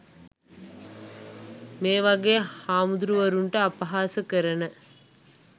මේ වගේ හාමුදුරු වරුන්ට අපහාස කරන